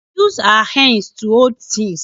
We use our hands to hold things